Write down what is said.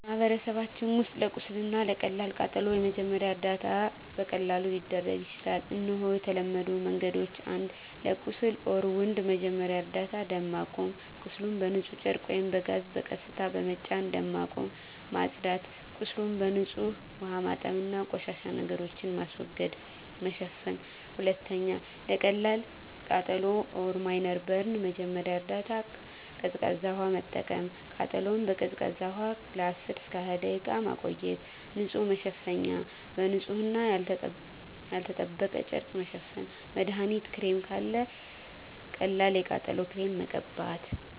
በማህበረሰባችን ውስጥ ለቁስል እና ለቀላል ቃጠሎ የመጀመሪያ ደረጃ እርዳታ በቀላሉ ሊደረግ ይችላል። እነሆ የተለመዱ መንገዶች፦ 1. ለቁስል (Wound) መጀመሪያ እርዳታ ደም ማቆም – ቁስሉን በንጹህ ጨርቅ ወይም ጋዝ በቀስታ በመጫን ደም ማቆም። ማጽዳት – ቁስሉን በንጹህ ውሃ ማጠብ እና ቆሻሻ ነገሮችን ማስወገድ። መሸፈን – 2. ለቀላል ቃጠሎ (Minor Burn) መጀመሪያ እርዳታ ቀዝቃዛ ውሃ መጠቀም – ቃጠሎውን በቀዝቃዛ ውሃ ለ10–20 ደቂቃ መቆየት። ንጹህ መሸፈኛ – በንጹህ እና ያልተጠበቀ ጨርቅ መሸፈን። መድሀኒት ክሬም – ካለ ቀላል የቃጠሎ ክሬም መቀበት።